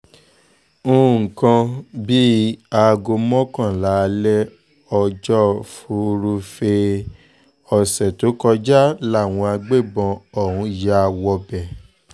nǹkan bíi aago mọ́kànlá alẹ́ ọjọ́ furuufee ọ̀sẹ̀ tó kọjá làwọn agbébọn ọ̀hún ya wọbẹ̀